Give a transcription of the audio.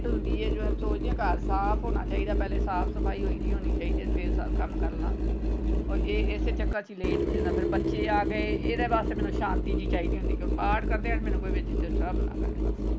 ਹੁੰਦੀ ਹੈ ਜੋ ਮੈਂ ਸੋਚਦੀ ਆਂ ਸਾਫ ਹੋਣਾ ਚਾਹੀਦਾ ਪਹਿਲੇ ਸਾਫ ਸਫਾਈ ਹੋਈ ਦੀ ਹੋਣੀ ਚਾਹੀਦੀ ਹੈ ਫੇਰ ਸਾਰਾ ਕੰਮ ਕਰਲਾਂ ਓਰ ਇਹ ਇਸੇ ਚੱਕਰ ਚ late ਹੋ ਜਾਂਦਾ ਫੇਰ ਬੱਚੇ ਆ ਗਏ ਇਹਦੇ ਵਾਸਤੇ ਮੈਨੂੰ ਸ਼ਾਂਤੀ ਚਾਹੀਦੀ ਹੁੰਦੀ ਕਿਉਂਕਿ ਪਾਠ ਕਰਦਿਆਂ ਮੈਨੂੰ ਕੋਈ disturb ਨਾ ਕਰੇ ਬਸ।